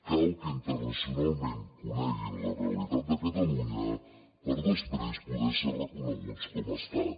cal que internacionalment coneguin la realitat de catalunya per després poder ser reconeguts com a estat